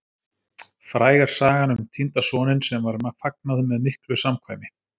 Fræg er sagan um týnda soninn, sem var fagnað með miklu samkvæmi.